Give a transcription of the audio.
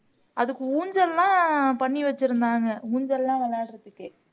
அதுக்கு ஊஞ்சல்லாம் பண்ணி வச்சிருந்தாங்க ஊஞ்சயெல்லாம் விளையாடுறதுக்கு